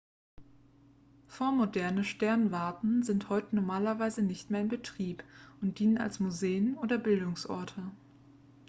vormoderne sternwarten sind heute normalerweise nicht mehr in betrieb und dienen als museen oder bildungsorte